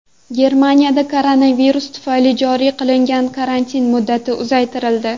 Germaniyada koronavirus tufayli joriy qilingan karantin muddati uzaytirildi.